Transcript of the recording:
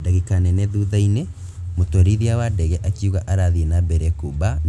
Dagika nini thutha-inĩ mũtwarithia wa ndege akiuga arathii na mbere kũmba nĩguo eherere matu mairũ